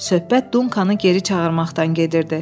Söhbət Dunkanı geri çağırmaqdan gedirdi.